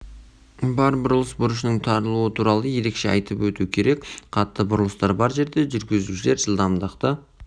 бар бұрылыс бұрышының тарылуы туралы ерекше айтып өту керек қатты бұрылыстар бар жерде жүргізушілерге жылдамдықты